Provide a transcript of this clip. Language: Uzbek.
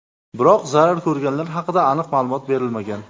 Biroq zarar ko‘rganlar haqida aniq ma’lumot berilmagan.